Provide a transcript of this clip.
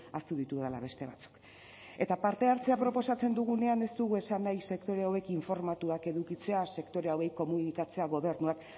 ahaztu ditudala beste batzuk eta parte hartzea proposatzen dugunean ez dugu esan nahi sektore hauek informatuak edukitzea sektore hauei komunikatzea gobernuak